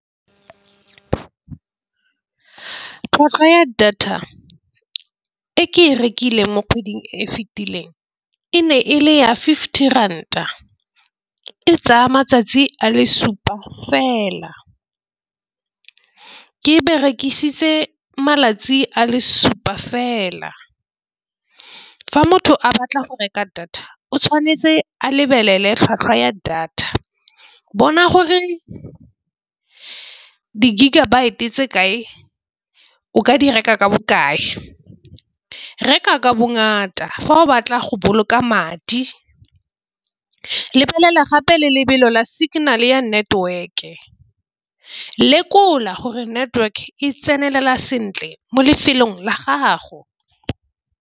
Tlhwatlhwa ya data e ke e rekileng mo kgweding e fitileng e ne e le ya fifty ranta e tsaya matsatsi a le supa fela. Ke e berekisitse malatsi a le supa fela. Fa motho a batla go reka data o tshwanetse a lebelele tlhwatlhwa ya data bona gore di-gigabyte tse kae o ka di reka ka bokae reka ka bongata fa o batla go boloka madi. Lebelela gape le lebelo la signal ya network e lekola gore network e tsenelela sentle mo lefelong la gago.